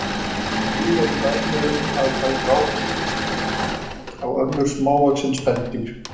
Til eru dæmi um að þær ráðist með ótrúlegri grimmd á önnur smávaxin spendýr.